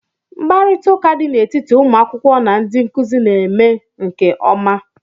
Mkparịta ụka dị n'etiti ụmụ akwụkwọ na ndị nkuzi na-eme nke ọma